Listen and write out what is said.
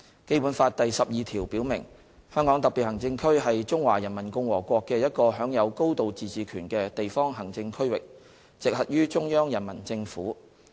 《基本法》第十二條表明，"香港特別行政區是中華人民共和國的一個享有高度自治權的地方行政區域，直轄於中央人民政府"。